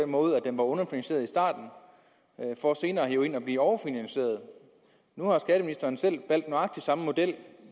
måde at den var underfinansieret i starten for senere at blive overfinansieret nu har skatteministeren selv valgt nøjagtig samme model